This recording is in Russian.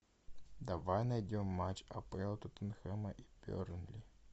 давай найдем матч апл тоттенхэма и бернли